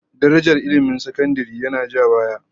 Darajar ilmin sakandare yana ja baya